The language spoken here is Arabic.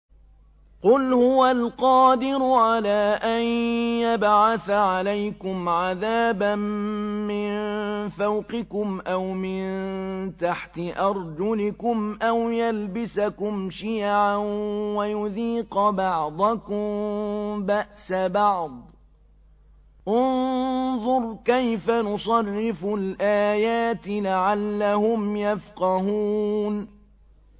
قُلْ هُوَ الْقَادِرُ عَلَىٰ أَن يَبْعَثَ عَلَيْكُمْ عَذَابًا مِّن فَوْقِكُمْ أَوْ مِن تَحْتِ أَرْجُلِكُمْ أَوْ يَلْبِسَكُمْ شِيَعًا وَيُذِيقَ بَعْضَكُم بَأْسَ بَعْضٍ ۗ انظُرْ كَيْفَ نُصَرِّفُ الْآيَاتِ لَعَلَّهُمْ يَفْقَهُونَ